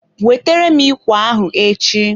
Wetere m ikwe ahụ echi!